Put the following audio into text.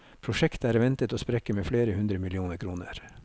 Prosjektet er ventet å sprekke med flere hundre millioner kroner.